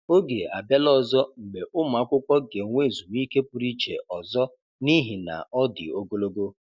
Oge abịala ọzọ mgbe ụmụ akwụkwọ ga-enwe ezumike pụrụ iche ọzọ n'ihi na ọ dị ogologo.